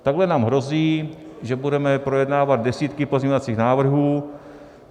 Takhle nám hrozí, že budeme projednávat desítky pozměňovacích návrhů.